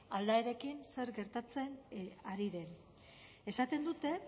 aldaerekin zer gertatzen ari den esaten dute